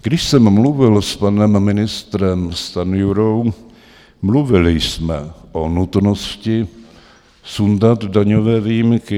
Když jsem mluvil s panem ministrem Stanjurou, mluvili jsme o nutnosti sundat daňové výjimky.